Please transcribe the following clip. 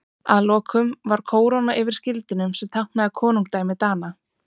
Að lokum var kóróna yfir skildinum sem táknaði konungdæmi Dana.